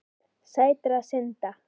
Sætra synda.